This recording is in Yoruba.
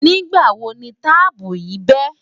nígbà wò ní taààpu yì be?